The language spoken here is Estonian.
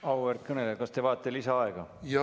Auväärt kõneleja, kas te vajate lisaaega?